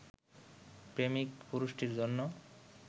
প্রেমিক পুরুষটির জন্য